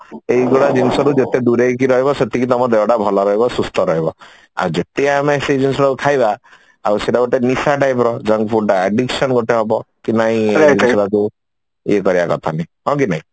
ଏଇଗୁଡା ଜିନିଷରୁ ଯେତିକି ତମେ ଦୂରେଇକି ରହିବ ତମ ଦେହ ସେତିକି ଭଲ ରହିବ ସୁସ୍ଥ ରହିବ ଆଉ ଯେତେ ଆମେ ସେ ଯୋଉ ସବୁ ଖାଇବା ଆଉ ସେଇଟା ଗୋଟେ ନିଶା type ର junk food ଟା addiction ଗୋଟେ ହବ କି ନାଇଁ ସେଗୁଡା ସବୁ ଇଏ କରିବା କଥା ନାଇଁ ହଁ କି ନାଇଁ